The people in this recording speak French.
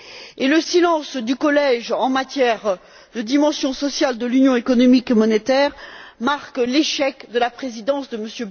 Et le silence du Collège en matière de dimension sociale de l'Union économique et monétaire marque l'échec de la présidence de M.